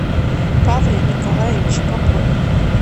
павле николаевиче попове